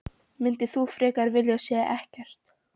Myndir þú frekar vilja segja ekkert?